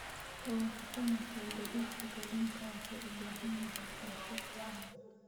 Waan ka xunahay, gaadiidka kalluunka waxa uu u baahan yahay qorshe fiican.